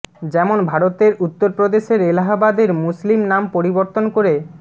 যেমন ভারতের উত্তর প্রদেশের এলাহাবাদের মুসলিম নাম পরিবর্তন করে